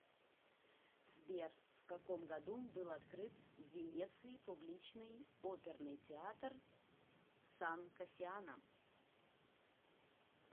сбер в каком году был открыт в венеции публичный оперный театр сан кассиано